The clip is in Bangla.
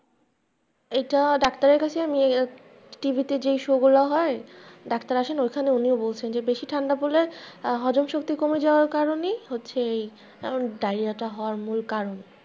এটা ডাক্তারের কাছে আমি TV তে যেই show গুলা হয়, ডাক্তার আসে না, ওখানে উনিও বলছেন বেশি ঠান্ডা পড়লে হজম শক্তি কমে যাওয়ার কারনেই হচ্ছে এই ডায়রিয়াটা হওয়ার মূল কারণ।